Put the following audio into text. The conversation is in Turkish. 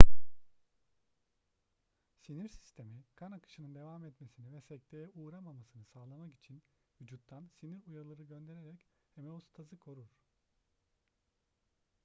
sinir sistemi kan akışının devam etmesini ve sekteye uğramamasını sağlamak için vücuttan sinir uyarıları göndererek homeostazı korur